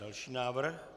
Další návrh?